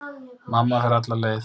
Mamma fer alla leið.